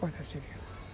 Cortar seringa.